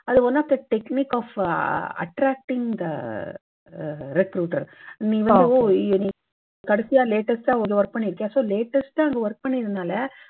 அது one of the technique for attracting the recruiter நீங்க கடைசியா latest டா அதுல work பண்ணி இருக்கீங்க. so latest டா அங்கே work பண்ணினால